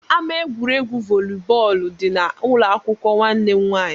Ama egwuregwu volley dị n'ụlọakwụkwọ nwanne m nwaanyị